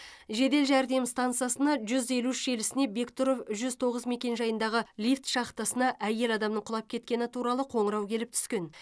жедел жәрдем стансасына жүз елу үш желісіне бектұров жүз тоғыз мекенжайындағы лифт шахтасына әйел адамның құлап кеткені туралы қоңырау келіп түскен